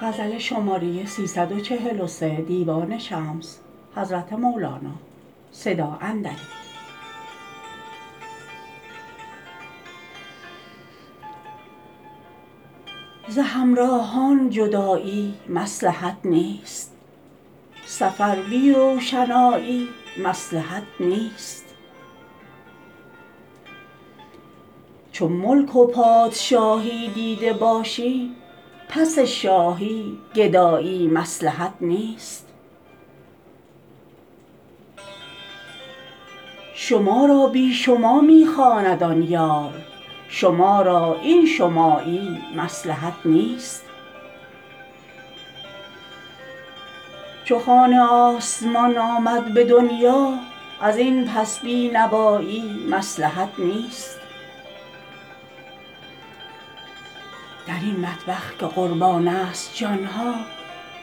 ز همراهان جدایی مصلحت نیست سفر بی روشنایی مصلحت نیست چو ملک و پادشاهی دیده باشی پس شاهی گدایی مصلحت نیست شما را بی شما می خواند آن یار شما را این شمایی مصلحت نیست چو خوان آسمان آمد به دنیا از این پس بی نوایی مصلحت نیست در این مطبخ که قربانست جان ها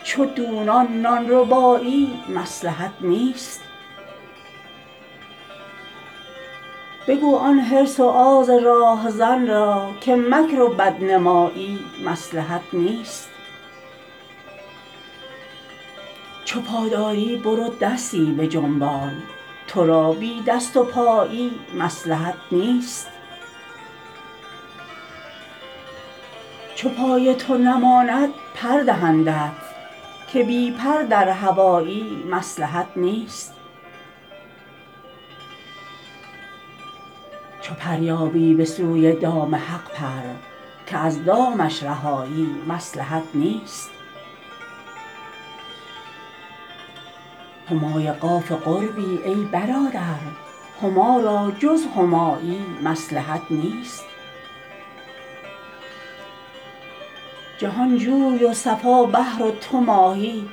چو دونان نان ربایی مصلحت نیست بگو آن حرص و آز راه زن را که مکر و بدنمایی مصلحت نیست چو پا داری برو دستی بجنبان تو را بی دست و پایی مصلحت نیست چو پای تو نماند پر دهندت که بی پر در هوایی مصلحت نیست چو پر یابی به سوی دام حق پر که از دامش رهایی مصلحت نیست همای قاف قربی ای برادر هما را جز همایی مصلحت نیست جهان جوی و صفا بحر و تو ماهی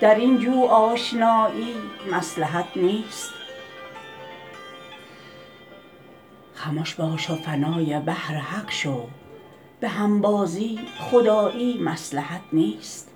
در این جو آشنایی مصلحت نیست خمش باش و فنای بحر حق شو به هنبازی خدایی مصلحت نیست